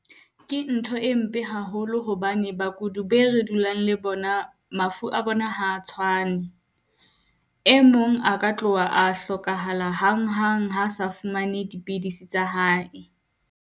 Ke ntho e mpe haholo hobane bakudi be re dulang le bona mafu a bona ha a tshwane. Emong a ka tloha a hlokahala hanghang ha a sa fumane dipidisi tsa hae.